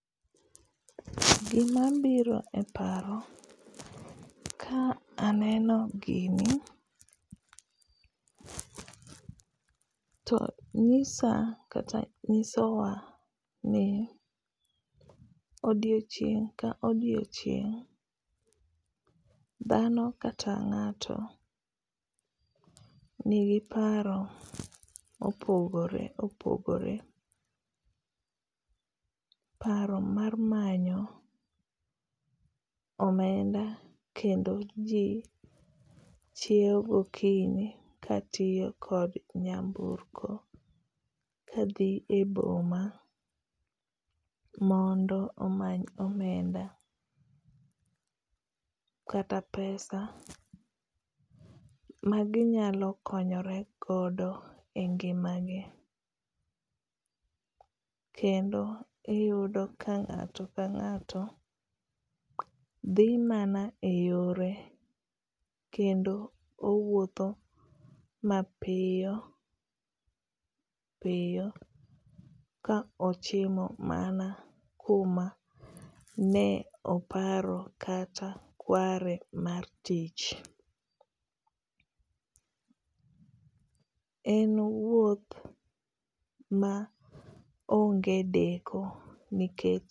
Gima biro e paro ka aneno gini to nyisa kata nyisowa ni odiechieng' ka odiechieng', dhano kata ngáto nigi paro ma opogore opogore. Paro mar manyo omenda kendo ji chiewo gokinyi ka tiyo kod nyamburko ka dhi e boma mondo omany omenda kata pesa ma ginyalo konyore gondo e ngima gi. Kendo iyudo ka ngáto ka ngáto dhi mana e yore kendo owuotho ma piyo piyo ka ochimo mana kuma ne oparo kata kare mar tich. En wuoth ma onge deko nikech.